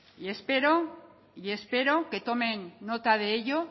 y espero que tomen nota de ello